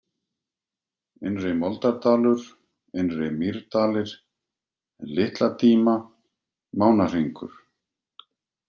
Innri-Moldardalur, Innri-Mýrdalir, Litla-Díma, Mánahringur